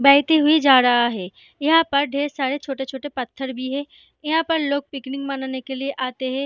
बहती हुई जा रहा है यहाँ पर ढेर सारे छोटे-छोटे पत्थर भी है यहाँ पर लोग पिकनिक मनाने के लिए आते हैं।